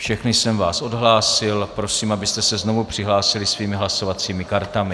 Všechny jsem vás odhlásil, prosím, abyste se znovu přihlásili svými hlasovacími kartami.